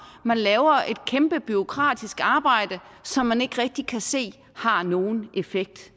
at man laver et kæmpe bureaukratisk arbejde som man ikke rigtig kan se har nogen effekt